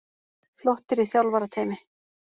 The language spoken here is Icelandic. Flottir í þjálfarateymi.